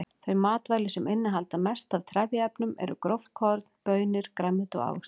Þau matvæli sem innihalda mest af trefjaefnum eru gróft korn, baunir, grænmeti og ávextir.